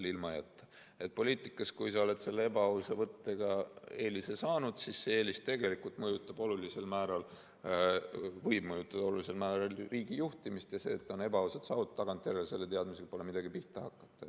Kui sa oled poliitikas ebaausa võttega eelise saanud, siis see eelis võib tegelikult olulisel määral mõjutada riigi juhtimist, ja selle teadmisega, et see on ebaausalt saavutatud, pole tagantjärele midagi pihta hakata.